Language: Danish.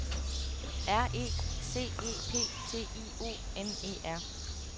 R E C E P T I O N E R